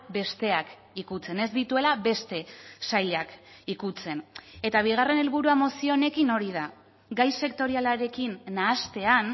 besteak ikutzen ez dituela beste sailak ikutzen eta bigarren helburua mozio honekin hori da gai sektorialarekin nahastean